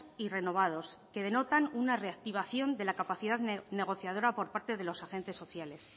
y renovados que denotan una reactivación de la capacidad negociadora por parte de los agentes sociales